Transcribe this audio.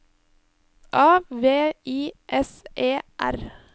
A V I S E R